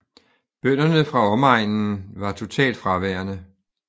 Bønderne fra omegnen var totalt fraværende